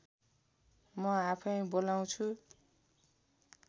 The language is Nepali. म आफै बोलाउँछु